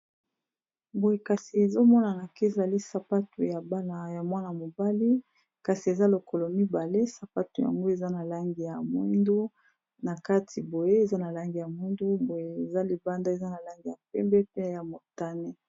Boye kasi ezomonana ka ezali sapato ya bana ya mwana-mobali kasi eza lokolo mibale sapato yango eza na langi ya moindu, na kati boye eza na langi ya moindu, boye eza libanda eza na langi ya pembe pe ya motane.